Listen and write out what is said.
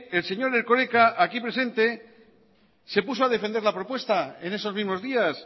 el señor erkoreka aquí presente se puso a defender la propuesta en esos mismos días